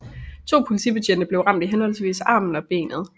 To politibetjente blev ramt i henholdsvis armen og benet